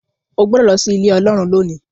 o gbódò ló sí Ilé Ọlọ́run lónì.